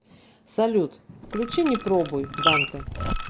салют включи не пробуй дантэ